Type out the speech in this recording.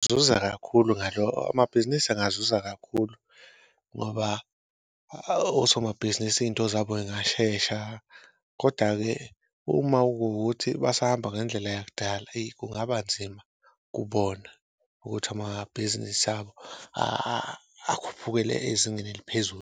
Zuza kakhulu amabhizinisi engazuza kakhulu ngoba osomabhizinisi iy'nto zabo y'ngashesha koda-ke uma kuwukuthi basahamba ngendlela yakudala eyi kungaba nzima kubona, ukuthi amabhizinisi abo akhuphukele ezingeni eliphezulu.